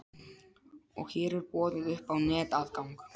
Og hér er boðið upp á netaðgang.